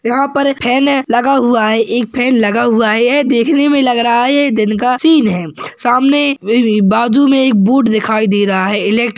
यहा पर फॅने लगा हुआ है एक फॅन लगा हुआ है ये देखने मे लगा रहा है ये दिन का सीन है सामने वे एक बाजू मे एक बूट दिखाई दे रहा है। इलेक्ट --